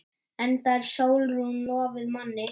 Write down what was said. Enda er Sólrún lofuð manni.